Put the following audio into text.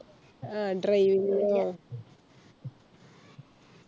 ആ Driving ഓ